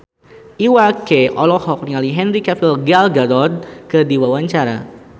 Iwa K olohok ningali Henry Cavill Gal Gadot keur diwawancara